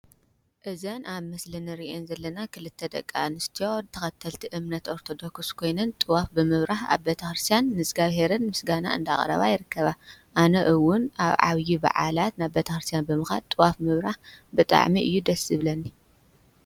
ተኸተልቲ እምነት ኦርተዶክስ ኮይንን ጥዋፍ ብምብራህ ኣብ በታርስያን ንዝጋብሔርን ምስጋና እንዳ ኣቕረባ የርከባ ኣነ እውን ኣብ ዓብዪ ብዓላት ናብ በታርስያን ብምኻድ ጥዋፍ ምብራህ ብጣዕሚ እዩ ደስብለኒ።